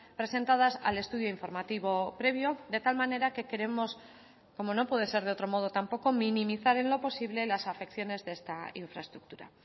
presentadas al estudio informativo previo de tal manera que queremos como no puede ser de otro modo tampoco minimizar en lo posible las afecciones de esta infraestructura